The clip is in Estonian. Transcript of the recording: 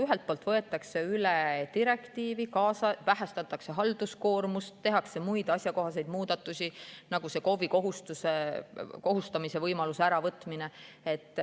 Ühelt poolt võetakse üle direktiiv, vähendatakse halduskoormust, tehakse muid asjakohaseid muudatusi, nagu see KOV‑i kohustamise võimaluse äravõtmine.